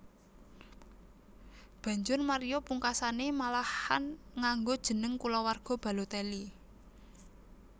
Banjur Mario pungkasané malahan nganggo jeneng kulawarga Balotelli